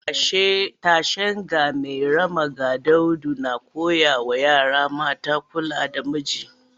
Tashen 'Ga Mairama ga Daudu’ na koya wa yara mata kula da miji